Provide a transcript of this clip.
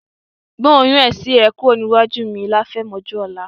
Gbé oyún ẹ̀sin rẹ kúrò nílé mi láfẹ̀mọ́júmọ̀ ọ̀la.